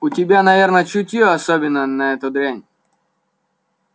у тебя наверное чутьё особенное на эту дрянь